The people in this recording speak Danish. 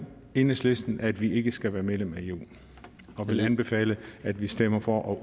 enhedslisten at vi ikke skal være medlem af eu og vil anbefale at vi stemmer for